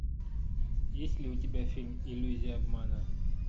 есть ли у тебя фильм иллюзия обмана